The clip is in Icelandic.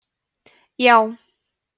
já